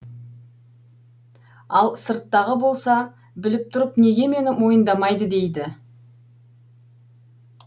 ал сырттағы болса біліп тұрып неге мені мойындамайды дейді